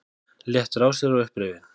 Léttur á sér og upprifinn.